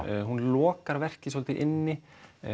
hún lokar verkið svolítið inni